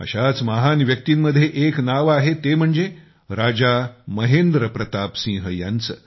अशाच महान व्यक्तींमध्ये एक नाव आहे ते म्हणजे राजा महेंद्र प्रताप सिंह यांचे